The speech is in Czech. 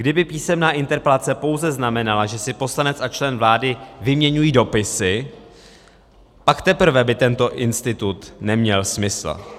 Kdyby písemná interpelace pouze znamenala, že si poslanec a člen vlády vyměňují dopisy, pak teprve by tento institut neměl smysl.